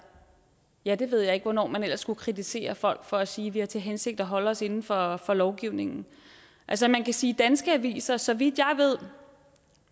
jeg det ved ikke hvornår man ellers skulle kritisere folk for at sige at de har til hensigt at holde sig inden for for lovgivningen altså man kan sige at danske aviser så vidt jeg ved